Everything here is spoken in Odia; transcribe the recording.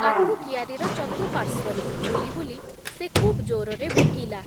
ଆଖୁ କିଆରିର ଚତୁପାର୍ଶ୍ଵରେ ବୁଲି ବୁଲି, ସେ ଖୁବ୍ ଜୋରରେ ଭୁକିଲା ।